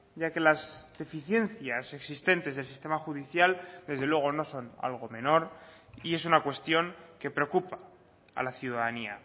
ya que las deficiencias existentes del sistema judicial desde luego no son algo menor y es una cuestión que preocupa a la ciudadanía